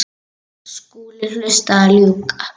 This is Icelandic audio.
Skúli hlaut að ljúga.